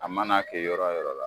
A mana kɛ yɔrɔ wo yɔrɔ la